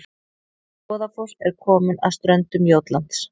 Goðafoss er komin að ströndum Jótlands